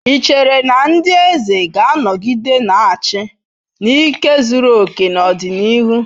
Ị chere na ndị eze ga-anọgide na-achị n'ike zuru oke n'ọdịnihu?